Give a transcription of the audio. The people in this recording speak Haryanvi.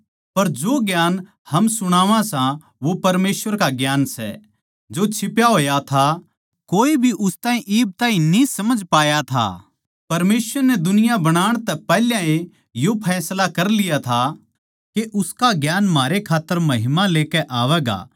पर जो ज्ञान हम सुणावां सां वो परमेसवर का ज्ञान सै जो छिप्या होया था कोए भी उस ताहीं इब ताहीं न्ही समझ पाया था परमेसवर नै दुनिया बणाण तै पैहले ए यो फैसला कर लिया था के उसका ज्ञान म्हारे खात्तर महिमा लेकै आवैगा